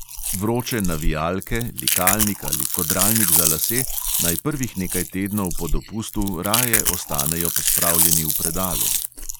Vroče navijalke, likalnik ali kodralnik za lase naj prvih nekaj tednov po dopustu raje ostanejo pospravljeni v predalu.